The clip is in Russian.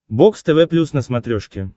бокс тв плюс на смотрешке